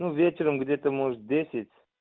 ну вечером где-то может десять